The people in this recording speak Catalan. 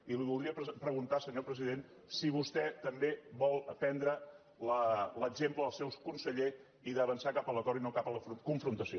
i li voldria preguntar senyor president si vostè també vol prendre l’exemple dels seus consellers i d’avançar cap a l’acord i no cap a la confrontació